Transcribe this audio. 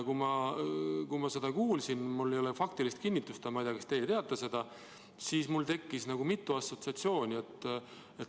Kui ma seda kuulsin – mul ei ole faktilist kinnitust ja ma ei tea, kas teie teate seda –, siis mul tekkis mitu assotsiatsiooni.